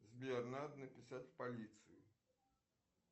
сбер надо написать в полицию